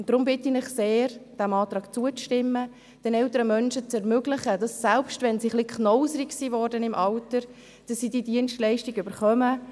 Deshalb bitte ich Sie sehr, dem Antrag zuzustimmen und den älteren Menschen zu ermöglichen, dass sie, selbst wenn sie im Alter ein wenig knauserig werden, diese Dienstleistung bekommen.